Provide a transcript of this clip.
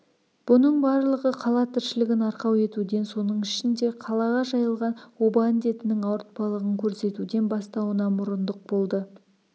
бұның барлығы қала тіршілігін арқау етуден соның ішінде қалаға жайылған оба індетінің ауыртпалығын көрсетуден бастауына мұрындық болды